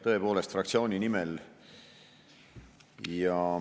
Tõepoolest fraktsiooni nimel.